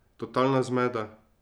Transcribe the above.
Totalna zmeda.